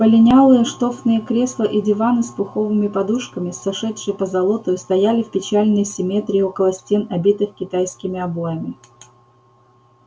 полинялые штофные кресла и диваны с пуховыми подушками с сошедшей позолотою стояли в печальной симметрии около стен обитых китайскими обоями